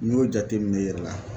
N'i y'o jateminɛ i yɛrɛ la